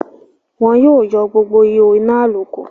wọn yóò yọ gbogbo ihó inà àlòkù.